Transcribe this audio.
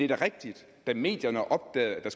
da rigtigt at da medierne opdagede at